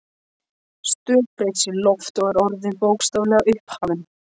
stökkbreyst í loft, og er orðin, bókstaflega, upphafin.